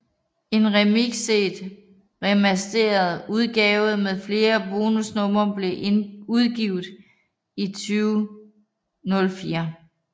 En remikset og remastered udgave med flere bonusnumre blev udgivet i 2004